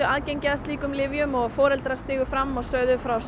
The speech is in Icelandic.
aðgengi að slíkum lyfjum og foreldrar stigu fram og sögðu frá